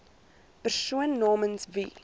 persoon namens wie